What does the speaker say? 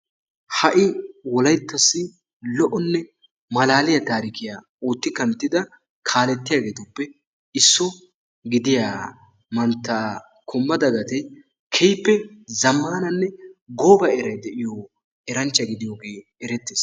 Ha'i wolayttasi lo"o malaaliyaa tarikiyaa otti kanttida kalettiyaagetuppe isso gidiyaa mantta kumbba dagatee keehippe zamaananne gooba eray de'iyoo eranchcha gidiyoogee erettees.